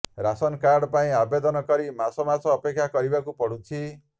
ration card ପାଇଁ ଆବେଦନ କରି ମାସ ମାସ ଅପେକ୍ଷା କରିବାକୁ ପଡ଼ୁଛି